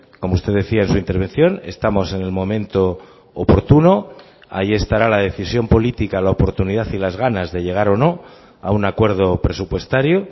como usted decía en su intervención estamos en el momento oportuno ahí estará la decisión política la oportunidad y las ganas de llegar o no a un acuerdo presupuestario